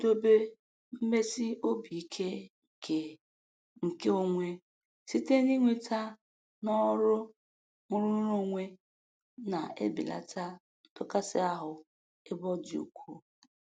Ịkwụdobe mmesi obi ike nke nke onwe site n'inweta n'ọrụ nrụrụonwe na-ebelata ndọkasị ahụ ebe ọ dị ukwu.